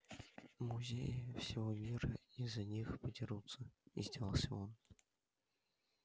музеи всего мира из-за них подерутся издевался он